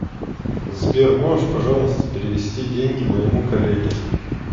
сбер можешь пожалуйста перевести деньги моему коллеге